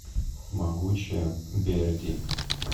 могучая берди